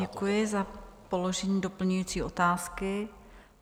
Děkuji za položení doplňující otázky.